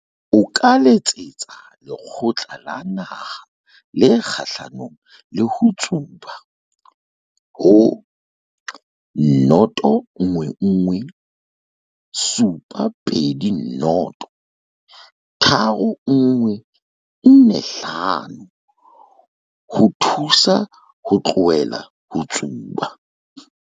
O ka letsetsa Lekgotla la Naha le Kgahlanong le ho Tsuba ho 011 720 3145 ho o thusa ho tlohela ho tsuba.